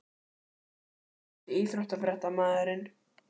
Ég slaka ekkert á kröfunum, hef alltaf þríréttað.